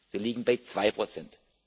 Wir liegen bei zwei Prozent.